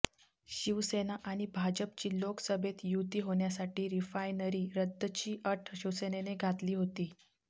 शिवसेना आणि भाजपची लोकसभेत युती होण्यासाठी रिफायनरी रद्दची अट शिवसेनेने घातली होती